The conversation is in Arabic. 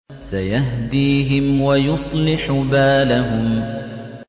سَيَهْدِيهِمْ وَيُصْلِحُ بَالَهُمْ